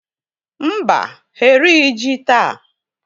Mba, ha erighi ji taa